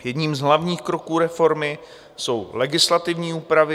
Jedním z hlavních kroků reformy jsou legislativní úpravy.